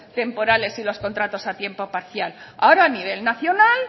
temporales y los contratos a tiempo parcial ahora a nivel nacional